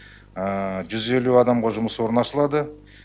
жүз елу адамға жұмыс орны ашылады